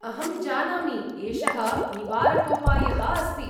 अहं जानामि, एषः निवारकोपायः अस्ति।